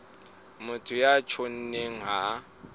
motho ya tjhonneng ha a